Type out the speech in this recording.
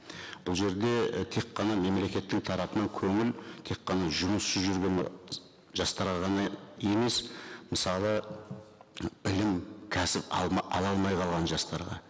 бұл жерде і тек қана мемлекеттің тарапынан көңіл тек қана жұмыссыз жүрген жастарға ғана емес мысалы білім кәсіп ала алмай қалған жастарға